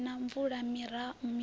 hu si na mvula miroho